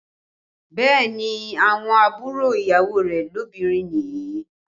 Bẹẹ ni, àwọn àbúrò ìyàwó rẹ̀ lóbìnrin nìyí